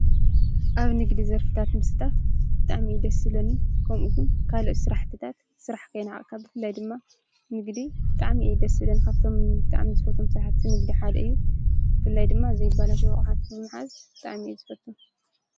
ኣብ ንግድ ዘርፍታት ምስታፍ ብጣዕሚ እዩ ደስ ዝብለኒ ከምኡውን ካልኦት ስራሕትታት ስራሕ ከይነዓቅካ ብፍላይ ድማ ንግዲ ብጣዕሚ እዩ ደስ ዝብለኒ ካብቶም ብጣዕሚ ዝፈትዎም ስራሕቲ ንግዲ ሓደ እዩ፡፡ ብፍላይ ድማ ዘይበላሸው ኣቕሓ ምሓዝ ብጣዕሚ እየ ዝፈቱ፡፡